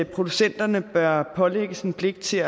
producenterne bør pålægges en pligt til